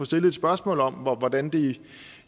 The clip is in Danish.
stille et spørgsmål om hvordan de